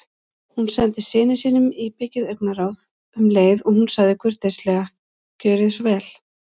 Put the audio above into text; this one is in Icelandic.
Hún sendi syni sínum íbyggið augnaráð um leið og hún sagði kurteislega: Gjörðu svo vel